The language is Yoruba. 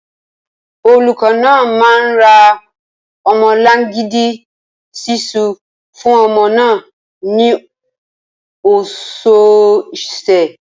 Olùkọ́ náà máa ń ra ọmọlangidi ṣiṣu fún ọmọ náà ní ọ̀sọ̀ọ̀sẹ̀